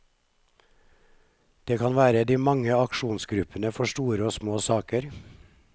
Det kan være de mange aksjonsgruppene for store og små saker.